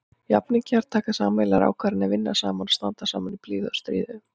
Jafningjar taka sameiginlegar ákvarðanir, vinna saman og standa saman í blíðu og stríðu.